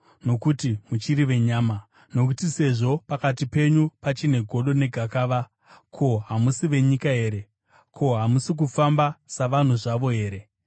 Nokuti muchiri venyama. Nokuti sezvo pakati penyu pachine godo negakava, ko, hamusi venyika here? Ko, hamusi kufamba savanhuwo zvavo here?